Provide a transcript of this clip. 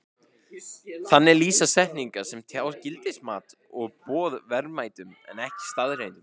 Þannig lýsa setningar sem tjá gildismat og boð verðmætum en ekki staðreyndum.